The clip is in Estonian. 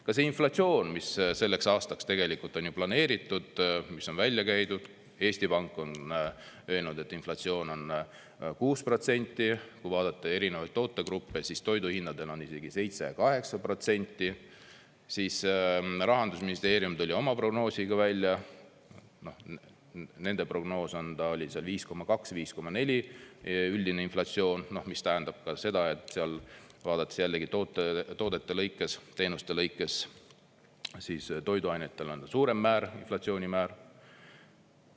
Ka see inflatsioon, mis selleks aastaks on planeeritud, mis on välja käidud: Eesti Pank on öelnud, et inflatsioon on 6%, kui vaadata erinevaid tootegruppe, siis toiduhindadel on isegi 7–8%, siis Rahandusministeerium tuli oma prognoosiga välja, nende prognoos on 5,2 või 5,4 see üldine inflatsioon, mis tähendab seda, et seal, vaadates jällegi toodete lõikes, teenuste lõikes, toiduainetel on suurem inflatsioonimäär.